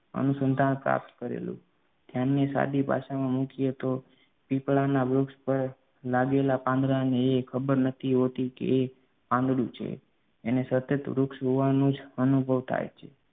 અનુસંધાન પ્રાપ્ત કરેલું. ધ્યાનને સાદી ભાષામાં મૂકીએ તો પીપળાના વૃક્ષ પર લાગેલા પાંદડાને એ ખબર નથી હોતી કે એ પાંદડું છે એને સતત વૃક્ષ હોવાનો જ અનુભવ થાય છે